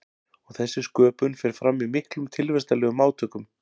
Og þessi sköpun fer fram í miklum tilvistarlegum átökum.